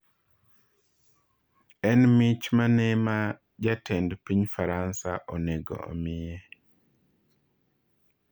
En mich mane ma jatend piny Faransa onego omiye?